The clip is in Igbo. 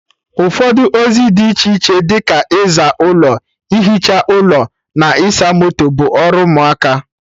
Ụfọdụ ozi dị iche iche dị ka ịza ụlọ, ihicha ụlọ na ịsa moto, bụ ọrụ ụmụaka